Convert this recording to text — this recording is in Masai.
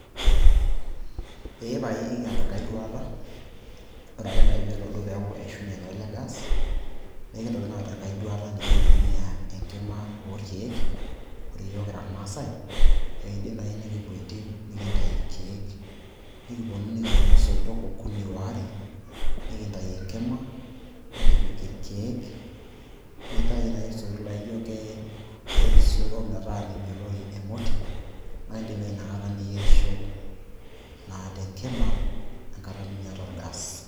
ee pae ekiata enkae duata, ore ake naaji peelo duo neeku eishunye naa ele gas naa ekintoki naa aata enkae duata nikintumia enkima oorkeek, ore yiok kira irmaasae ekiin'dim naai nikipuo entim nikintayu irkeek nikipuonu nikidumu soitok okuni, waare, nikintayu enkima nikipik irkeek, nintayu naaji isoitok laijo kerisioro metaa meibelori emoti naa in'dim naai inakata niyierisho te nkima enkata nimiyata orgas.